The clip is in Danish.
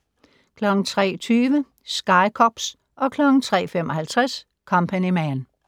03:20: Sky Cops 03:55: Company Man